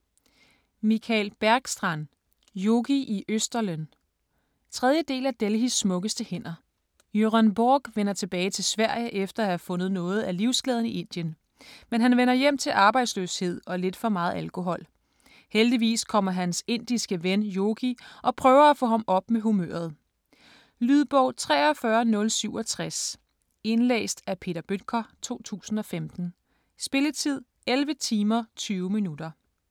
Bergstrand, Mikael: Yogi i Østerlen 3. del af Delhis smukkeste hænder. Göran Borg vender tilbage til Sverige efter at have fundet noget af livsglæden i Indien. Men han vender hjem til arbejdsløshed og lidt for meget alkohol. Heldigvis kommer hans indiske ven Yogi og prøver at få ham op med humøret. Lydbog 43067 Indlæst af Peter Bøttger, 2015. Spilletid: 11 timer, 20 minutter.